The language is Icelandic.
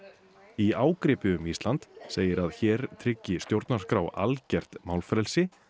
í ágripi um Ísland segir að hér tryggi stjórnarskrá algert málfrelsi